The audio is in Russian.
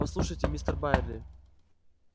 послушайте мистер байерли